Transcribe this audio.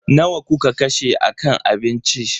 Nawa kuka kashe a kan abinci?